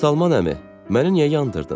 Məşədi Salman əmi, məni niyə yandırdın?